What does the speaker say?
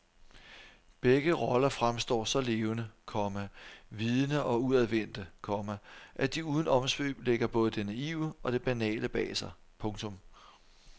Begge roller fremstår så levende, komma vidende og udadvendte, komma at de uden omsvøb lægger både det naive og det banale bag sig. punktum